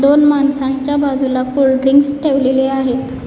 पण माणसांच्या बाजूला कोल्ड्रिंक्स ठेवलेले आहेत.